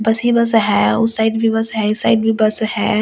बस ही बस है उस साइड भी बस है इस साइड भी बस है और लोग।